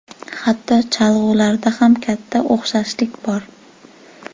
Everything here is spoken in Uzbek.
Hattoki cholg‘ularida ham katta o‘xshashlik bor.